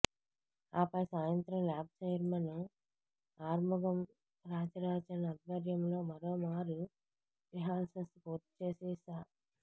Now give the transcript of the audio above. ఆపై సాయంత్రం lab chairman Arumugam Rajarajan ఆధ్వర్యంలో మరోమారు రిహార్సల్స్ పూర్తిచేసి సా